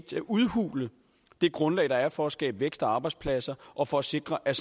til at udhule det grundlag der er for at skabe vækst og arbejdspladser og for at sikre at